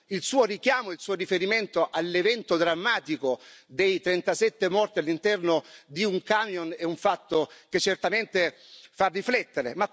Il suo richiamo, il suo riferimento all'evento drammatico dei 39 morti all'interno di un camion è un fatto che certamente fa riflettere.